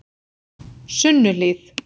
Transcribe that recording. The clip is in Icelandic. Sunnuhlíð